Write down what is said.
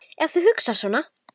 Ef þú hugsar svona.